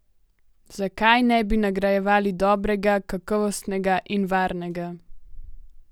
Zakaj ne bi nagrajevali dobrega, kakovostnega in varnega?